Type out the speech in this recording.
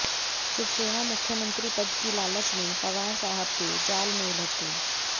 शिवसेना मुख्यमंत्री पद की लालच में पवार साहब के जाल में उलझ गई